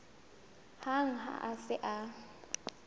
hang ha a se a